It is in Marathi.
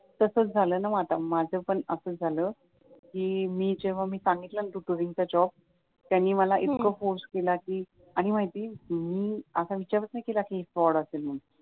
तसेच झालं ना मग आता माझं पण असाच झालं कि जेव्हा मी सांगितलं ना तो टुरिस्ट चा जॉब त्यांनी मला इतकं फोर्स केला कि आम्ही आधी मी असा विचारच नाही केला कि हे फ्रॉड असेल म्हणून